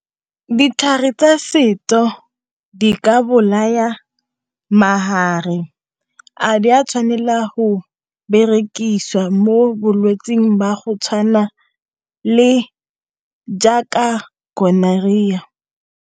Ditlhare tsa setso di ka bolaya a di a tshwanelwa ho berekiswa mo bolwetsing jwa go tshwana le gonorrhea.